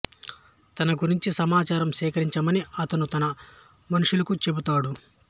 ఆమె గురించి సమాచారం సేకరించమని అతను తన మనుష్యులకు చెబుతాడు